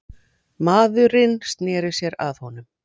Maðurinn sneri sér að honum.